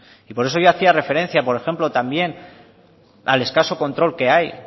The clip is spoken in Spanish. y por eso yo hacía referencia por ejemplo también al escaso control que hay